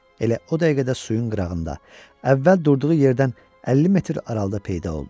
Elə o dəqiqədə suyun qırağında, əvvəl durduğu yerdən 50 metr aralıda peyda oldu.